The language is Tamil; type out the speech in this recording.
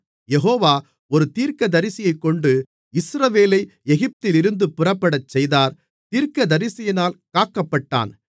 யெகோவா ஒரு தீர்க்கதரிசியைக் கொண்டு இஸ்ரவேலை எகிப்திலிருந்து புறப்படச்செய்தார் தீர்க்கதரிசியினால் காக்கப்பட்டான்